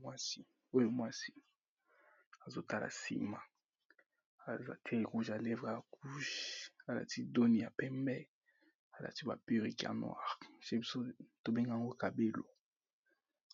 Mwasi oyo mwasi, azo tala sima aza pe rouge à lèvre ya couge alati doni ya pembe, a lati ba peruque ya noir, chez biso to bengak'ango kabelo,